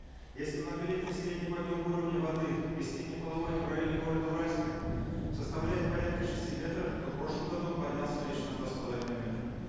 если многолетний средний подъем уровня воды весеннего половодья в районе города уральска составляет порядка шести метров то в прошлом году он поднялся лишь на два с половиной метра